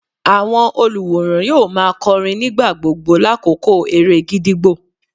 Àwọn olùwòran yóò má a kọrin nígbà gbogbo lákòókò eré gídígbò.